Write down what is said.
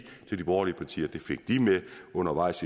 borgerlige partier at det fik de med under vejs